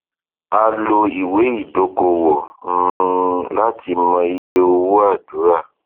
a lò ìwé ìdókòwò um láti mọ iye owó àdúrà